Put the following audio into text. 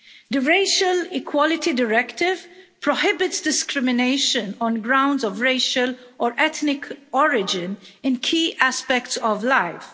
The Racial Equality Directive prohibits discrimination on grounds of racial or ethnic origin in key aspects of life.